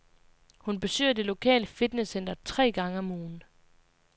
Hun besøger det lokale fitnesscenter tre gange om ugen.